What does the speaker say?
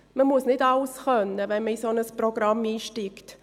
Man muss nicht alles können, wenn man in ein solches Programm einsteigt.